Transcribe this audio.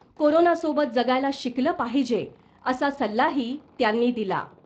कोरोनासोबत जगायला शिकलं पाहिजे असा सल्लाही त्यांनी दिला .